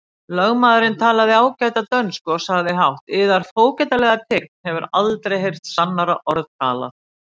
Lögmaðurinn talaði ágæta dönsku og sagði hátt:-Yðar fógetalega tign hefur aldrei heyrt sannara orð talað!